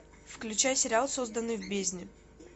включай сериал созданный в бездне